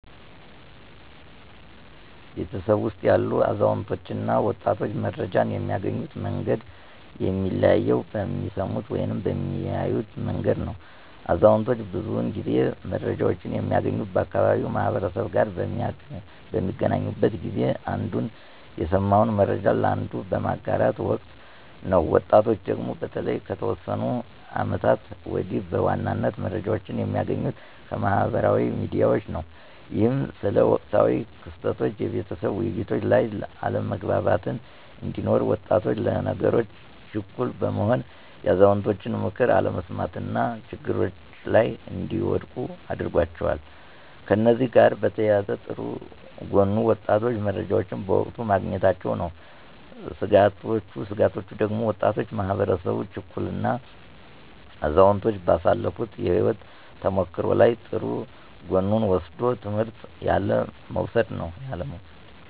በቤተሰባችን ውስጥ ያሉ አዛውንቶች እና ወጣቶች መረጃን የሚያገኙበት መንገድ የሚለያየው በሚሰሙበት ወይም በሚያዩበት መንገድ ነው። አዛውንቶች ብዙውን ጊዜ መረጃወችን የሚያገኙት ከአካባቢው ማህበረሰብ ጋር በሚገናኙበት ጊዜ አንዱ የሰማውን መረጃ ለአንዱ በሚያጋራበት ወቅት ነው። ወጣቶቹ ደግሞ በተለይ ከተወሰኑ አመታቶች ወዲህ በዋናነት መረጃዎችን የሚያገኙት ከማህበራዊ ሚዲያዎች ነው። ይህም ስለ ወቅታዊ ክስተቶች የቤተሰብ ውይይቶች ላይ አለመግባባት እንዲኖር፤ ወጣቶች ለነገሮች ችኩል በመሆን የአዛውንቶችን ምክር አለመስማት እና ችግሮች ላይ እንዲወድቁ አድርጓቸዋል። ከእነዚህ ጋር በተያያዘ ጥሩ ጎኑ ወጣቶቹ መረጃዎችን በወቅቱ ማግኘታቸው ነው። ስጋቶቹ ደግሞ ወጣቱ ማህበረሰብ ችኩል እና አዛውንቶች ባሳለፋት የህይወት ተሞክሮ ላይ ጥሩ ጎኑን ወስዶ ትምህርት ያለ መውሰድ ነው።